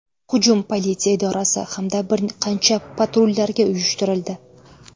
Hujum politsiya idorasi hamda bir qancha patrullarga uyushtirildi.